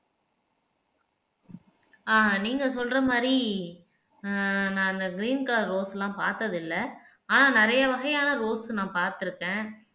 ஆஹ் நீங்க சொல்ற மாதிரி ஆஹ் நான் அந்த கிரீன் கலர் ரோஸ் எல்லாம் பார்த்ததில்லை ஆனா நிறைய வகையான ரோஸ் நான் பார்த்திருக்கேன்